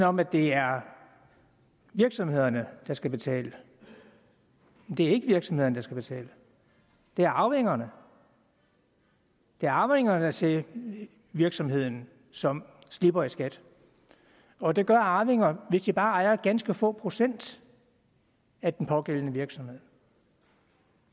om at det er virksomhederne der skal betale det er ikke virksomhederne der skal betale det er arvingerne det er arvingerne til virksomheden som slipper i skat og det gør arvinger hvis de bare ejer ganske få procent af den pågældende virksomhed